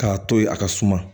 K'a to yen a ka suma